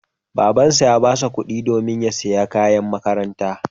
Babansa ya ba shi kuɗi domin ya sayi kayan makaranta.